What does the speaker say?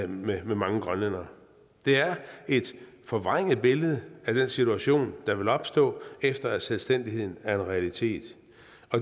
med mange grønlændere det er et forvrænget billede af den situation der vil opstå efter at selvstændigheden er en realitet